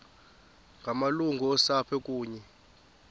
ngamalungu osapho kunye